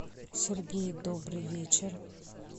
сергей добрый вечер